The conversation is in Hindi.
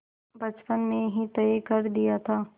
बचपन में ही तय कर दिया था